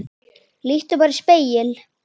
Líttu bara í spegil.